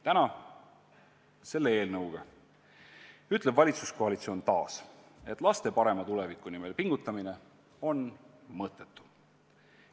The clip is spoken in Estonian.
Täna, selle eelnõuga ütleb valitsuskoalitsioon taas, et laste parema tuleviku nimel pingutamine on mõttetu.